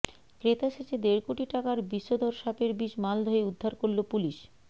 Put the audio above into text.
ক্রেতা সেজে দেড় কোটি টাকার বিষধর সাপের বিষ মালদহে উদ্ধার করল পুলিশ